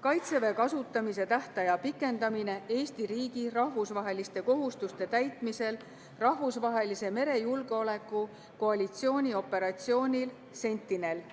Kaitseväe kasutamise tähtaja pikendamine Eesti riigi rahvusvaheliste kohustuste täitmisel rahvusvahelise merejulgeoleku koalitsiooni operatsioonil Sentinel.